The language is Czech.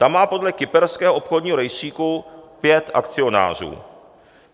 Ta má podle kyperského obchodního rejstříku pět akcionářů.